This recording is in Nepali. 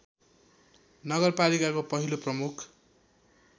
नगरपालिकाको पहिलो प्रमुख